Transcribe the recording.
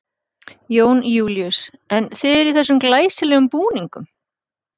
Jón Júlíus: En þið eruð í þessum glæsilegum búningum?